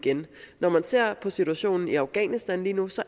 når man ser på situationen i afghanistan lige nu ser